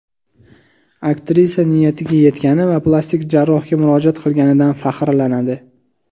Aktrisa niyatiga yetgani va plastik jarrohga murojaat qilganidan faxrlanadi.